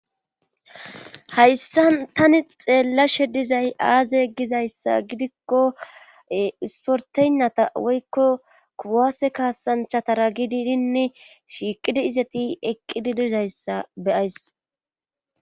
hayssa tani xeellashe dizay aaze gizayssa gidikko isporteynnata woykko kuwaase kaasanchatara gididinne shiiqidi izati eqqidi dizayssa be'ays